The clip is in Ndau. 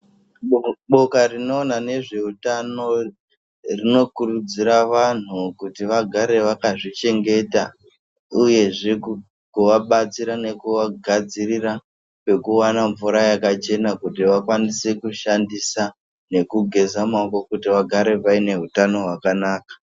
Boka rinoona nezveutano, rinokurudzira vanhu kuti vagare vakazvichengeta, uyezve kukuvabatsira nekuvagadzirira pekuwana mvura yakachena kuti vakwanise kushandisa nekugeza maoko, kuti vagare vaine hutano hwakanaka.